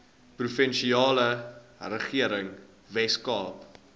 provinsiale regering weskaap